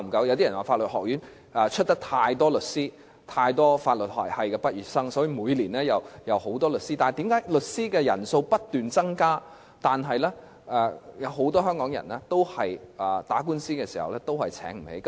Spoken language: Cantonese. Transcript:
有些人說法律學院培訓了太多律師，由於有太多法律學系的畢業生，所以每年均有很多新律師，但為甚麼律師的人數不斷增加，很多香港人在打官司時卻仍然沒有能力聘請律師？